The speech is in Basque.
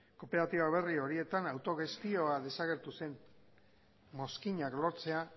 kooperatiba berri horietan autogestioa desagertu zen mozkinak lortzea